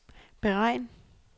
beregn